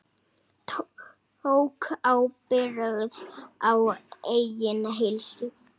Tók ábyrgð á eigin heilsu.